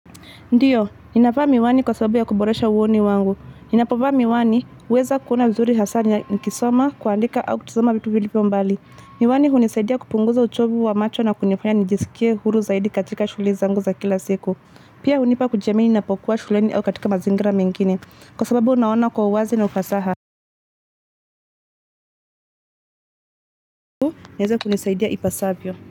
Ndiyo, ninavaa miwani kwa sababu ya kuboresha uoni wangu. Ninapo vaa miwani, huweza kuona vizuri hasaa nikisoma, kuandika au kutazama vitu vilivyoo mbali. Miwani hunisaidia kupunguza uchovu wa macho na kunifanya nijisikie huru zaidi katika shughuli zangu za kila siku. Pia hunipa kujiamini napokuwa shuleni au katika mazingira mengine. Kwa sababu unaona kwa uwazi na ufasaha. Niaze kunisaidia ipasavyo.